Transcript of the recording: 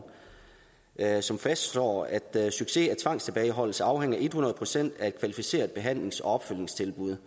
som fastslår at succes af tvangstilbageholdelse afhænger hundrede procent af et kvalificeret behandlings og opfølgningstilbud